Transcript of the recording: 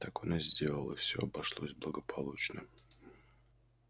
так он и сделал и все обошлось благополучно